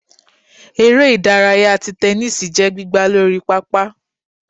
ère idàráyá tí tẹnisi jẹ gbìgbá Lorí pápá